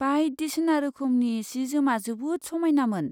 बायदिसिना रोखोमनि सि जोमा जोबोद समायनामोन।